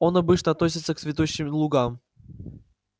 он обычно относится к цветущим лугам